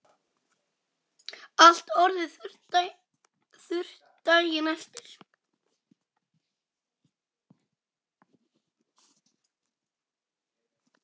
Allt orðið þurrt daginn eftir.